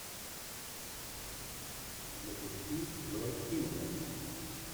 запусти вэл килмер